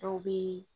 Dɔw bɛ